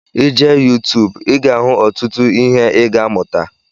I jee youtuube ị ga ahụ ọtụtụ ihe ị ga amuta